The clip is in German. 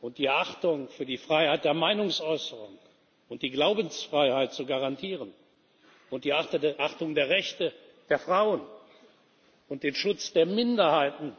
und die Achtung für die Freiheit der Meinungsäußerung und die Glaubensfreiheit zu garantieren und die Achtung der Rechte der Frauen und den Schutz der Minderheiten